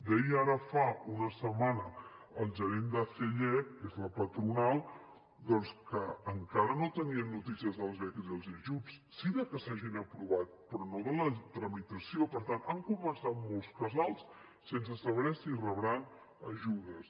deia ara fa una setmana el gerent d’acellec que és la patronal doncs que encara no tenien notícies de les beques i els ajuts sí de que s’hagin aprovat però no la tramitació per tant han començat molts casals sense saber si rebran ajudes